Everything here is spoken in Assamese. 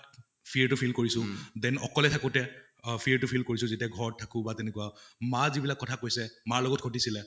fear টো feel কৰিছো, then অকলে থাকোতে অহ fear টো feel কৰিছো যেতিয়া ঘৰত থাকো বা তেনেকুৱা, মা যিবিলাক কথা কৈছে মাৰ লগত ঘিতিছিলে